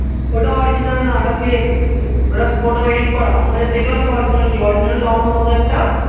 ওটা original না ওটা fake ওটা পুরো টা edit করা আমরা দেখলাম তো original কি original লম্বা মতো একটা